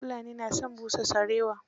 Fulani na son busa sarewa.